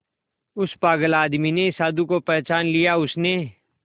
उस पागल आदमी ने साधु को पहचान लिया उसने